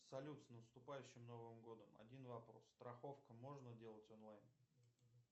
салют с наступающим новым годом один вопрос страховку можно делать онлайн